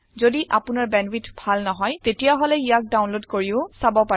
যদি আপোনাৰ বেন্ডৱিথ ভাল নহয় তেতিয়াহলে ইয়াক ডাওনলোদ কৰিও চাব পাৰে